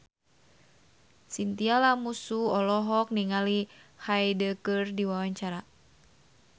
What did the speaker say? Chintya Lamusu olohok ningali Hyde keur diwawancara